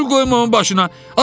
Kül qoyma onun başına.